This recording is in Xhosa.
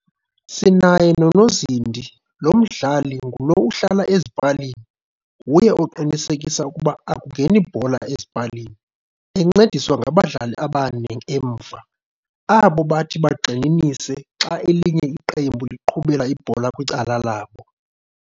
Sinaye nonozindi lo umdlali ngulo uhlala ezipalini, nguye oqinisekisa ukuba akungeni bhola ezipalini. Encediswa ngabadlali abane emva, abobathi bangxininise xa elinye iqembu liqhubela ibhola kwicala labo.